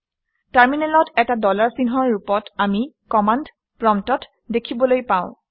টাৰমিনেলত এটা ডলাৰ চিহ্নৰ ৰূপত আমি কমাণ্ড প্ৰম্পট্ দেখিবলৈ পাওঁ